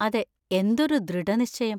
അതെ, എന്തൊരു ദൃഢനിശ്ചയം.